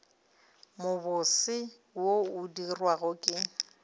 mobose wo o dirwago ke